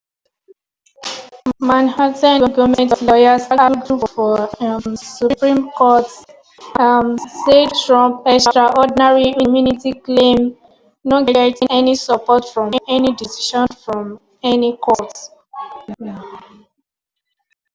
manhattan goment lawyers argue for um supreme court um say trump "extraordinary immunity claim no get any support from any decision from any court".